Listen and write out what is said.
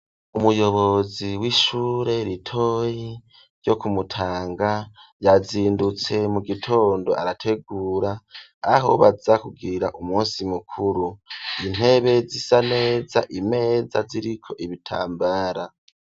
Umuyobozi w'ishure ritoyi ryo kumutanga yazindutse mu gitondo arategura aho baza kugirira umunsi mukuru intebe zisa neza imeza ziriko ibitambara.